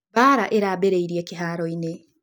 Mbaara ĩrambĩrĩirie kĩhaaro-inĩ.